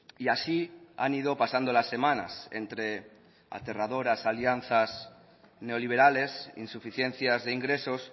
y así han ido pasando las semanas entre aterradoras alianzas neoliberales insuficiencias de ingresos